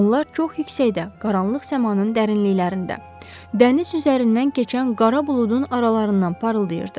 Onlar çox yüksəkdə, qaranlıq səmanın dərinliklərində, dəniz üzərindən keçən qara buludun aralarından parıldayırdı.